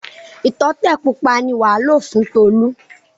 Ìtọ́tẹ̀ pupa ni wàá lò fún Tolú.